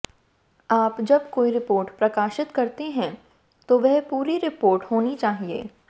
आप जब कोई रिपोर्ट प्रकाशित करते हैं तो वह पूरी रिपोर्ट होनी चाहिए